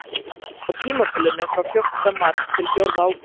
Á tímabilinu frá fjórtánda mars til fjórða ágúst.